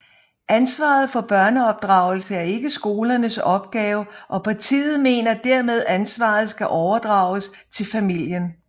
Ansvaret for børneopdragelse er ikke skolernes opgave og partiet mener dermed ansvaret skal overdrages til familien